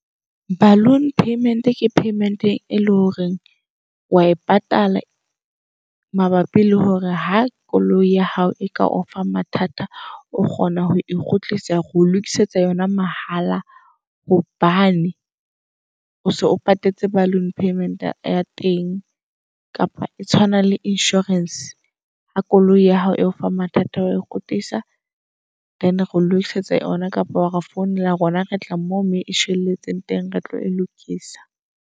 Balloon payment ke payment e leng hore wa e patala mabapi le hore ha koloi ya hao e ka ofa mathata o kgona ho e kgutlisa reo lokisetsa yona mahala. Hobane o so o patetse balloon payment ya teng. Kapa e tshwana le insurance ha koloi ya hao e o fa mathata wa e kgutlisa. Then reo lokisetsa yona kapa ware founela. Rona retla moo mo e shwelletseng teng. Re tlo e lokisa.